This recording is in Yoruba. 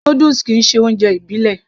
Noodles kìí ṣe oúnjẹ ìbílẹ̀